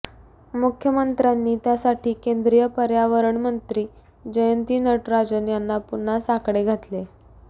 मुख्यमंत्र्यांनी त्यासाठी केंद्रीय पर्यावरण मंत्री जयंती नटराजन यांना पुन्हा साकडे घातले